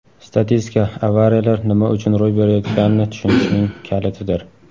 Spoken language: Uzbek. Statistika - avariyalar nima uchun ro‘y berayotganini tushunishning kalitidir.